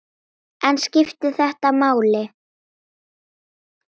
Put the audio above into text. En skiptir þetta máli?